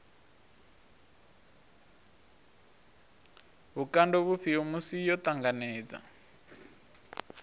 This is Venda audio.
vhukando vhufhio musi yo ṱanganedza